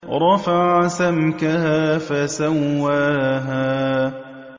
رَفَعَ سَمْكَهَا فَسَوَّاهَا